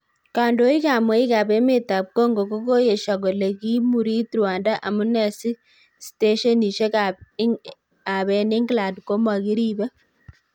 Kondoik ab mweik ab emetab Congo kogoyesio kole kiimurit Rwanda amune si steshenishek ab en England komokiribe?